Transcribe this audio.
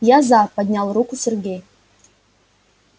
я за поднял руку сергей